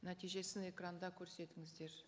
нәтижесін экранда көрсетіңіздер